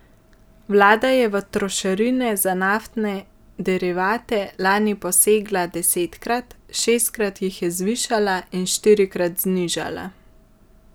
Vlada je v trošarine za naftne derivate lani posegla desetkrat, šestkrat jih je zvišala in štirikrat znižala.